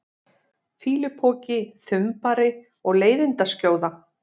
fýlupoki, þumbari og leiðindaskjóða?